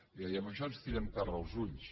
i amb això ens tirem terra als ulls